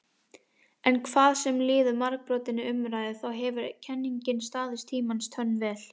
En hvað sem líður margbrotinni umræðu þá hefur kenningin staðist tímans tönn vel.